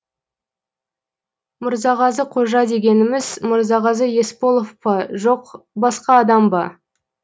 мырзағазы қожа дегеніміз мырзағазы есполов па жоқ басқа адам ба